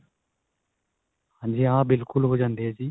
ਹਾਂਜੀ ਹਾਂ ਬਿਲਕੁਲ ਹੋ ਜਾਂਦੀ ਏ ਜੀ.